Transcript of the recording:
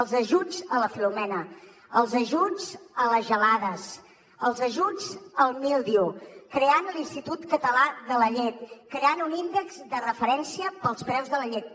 els ajuts a la filomena els ajuts a les gelades els ajuts al míldiu creant l’institut català de la llet creant un índex de referència per als preus de la llet